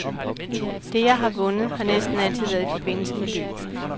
Det, jeg har vundet, har næsten altid været i forbindelse med løb.